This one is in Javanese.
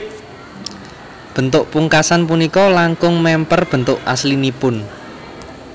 Bentuk pungkasan punika langkung mèmper bentuk aslinipun